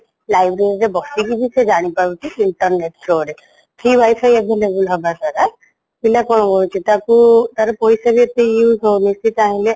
library ରେ ବେସିକିବି ସେ ଜାଣିପାରୁଛି internet through ରେ free wifiavailable ହଵାଦ୍ଵାରା ପିଲା କ'ଣ କରୁଛି ତାକୁ ତାର ପଇସାବି ଏତେ use ହଉନି ସିଏ ଚାହିଁଲେ